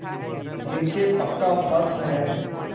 नीचे पक्का फर्श है